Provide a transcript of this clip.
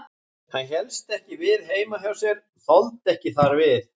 Hann hélst ekki við heima hjá sér, þoldi ekki þar við.